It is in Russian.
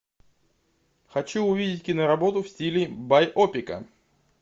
хочу увидеть киноработу в стиле байопика